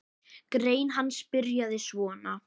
Grein hans byrjaði svona